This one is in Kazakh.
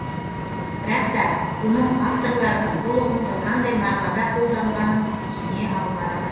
бірақ та бұның авторларының бұл ұғымды қандай мағынада қолданғанын түсіне алмадық